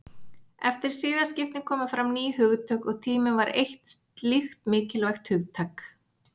Eftir siðaskiptin komu fram ný hugtök og tíminn var eitt slíkt mikilvægt hugtak.